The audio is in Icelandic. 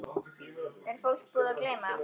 Er fólk búið að gleyma?